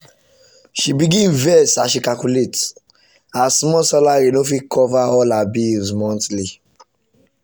she begin vex as she calculate her small salary no fit cover all her bills monthly.